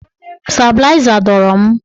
Stabịlaịza dọrọ m.